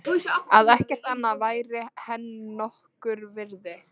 Að ekkert annað væri henni nokkurs virði.